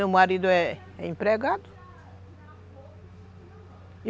Meu marido é empregado.